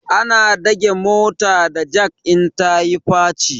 Ana dage mota da jak in ta yi faci